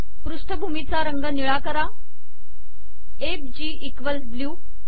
पृष्ठ भूमी चा रंग निळा करा एफ जी इक्वल्स ब्ल्यू